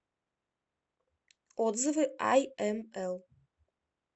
отзывы айэмэл